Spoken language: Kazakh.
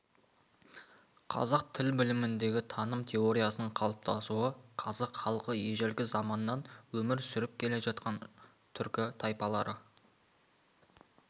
қазақ тіл біліміндегі таным теориясының қалыптасуы қазақ халқы ежелгі заманнан өмір сүріп келе жатқан түркі тайпалары